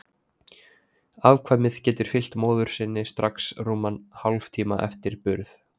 Afkvæmið getur fylgt móður sinni strax rúman hálftíma eftir burð.